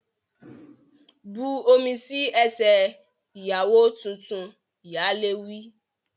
Bu omi sí ẹsẹ̀ ìyàwó tuntun! Ìyálé wí.